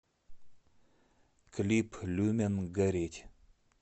клип люмен гореть